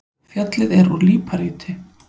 Fjallið er úr líparíti.